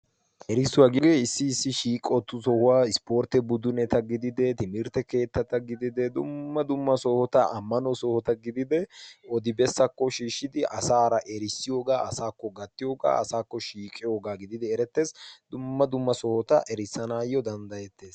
Erissuwaa gioee issi issi shiiqottu sohuwaa ispportte buduneta gidide timirtte keettata gidide dumma dumma sohota ammano sohota gidide odibessakko shiishshidi asaara erissiyoogaa asaakko gattiyoogaa asaakko shiiqiyoogaa gididi eretteesi dumma dumma sohota erissanaayyo danddayettees.